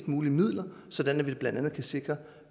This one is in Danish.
mulige midler sådan at vi blandt andet kan sikre